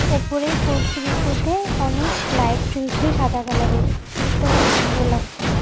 ওপরে ফোর সিলিংটাতে অনেক লাইট জ্বলছে সাদা কালারের দেখতে অনেক সুন্দর লাগছে।